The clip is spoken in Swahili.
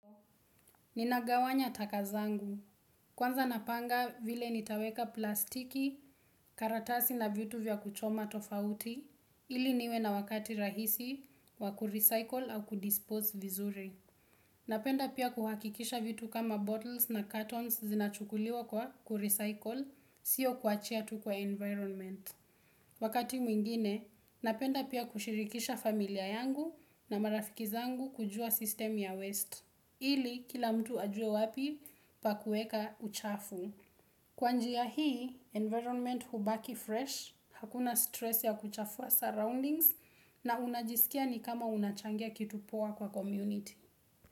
Ninagawanya taka zangu. Kwanza napanga vile nitaweka plastiki, karatasi na vitu vya kuchoma tofauti, ili niwe na wakati rahisi wa kurecycle au kudispose vizuri. Napenda pia kuhakikisha vitu kama bottles na cartons zinachukuliwa kwa kurecycle, sio kuachia tu kwa environment. Wakati mwingine, napenda pia kushirikisha familia yangu na marafiki zangu kujua system ya waste. Ili kila mtu ajue wapi pa kueka uchafu. Kwa njia ya hii, environment hubaki fresh, hakuna stress ya kuchafua surroundings na unajisikia ni kama unachangia kitu poa kwa community.